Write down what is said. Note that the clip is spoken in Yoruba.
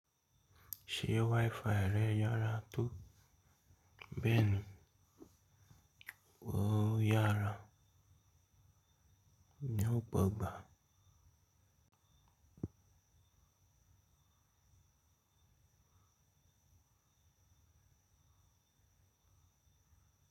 Ṣé WiFi rẹ yára tó bẹ́ẹ̀ni, ò yára, ní ọ̀pọ̀ ìgbà.